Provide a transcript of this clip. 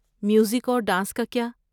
Music اور dance کا کیا؟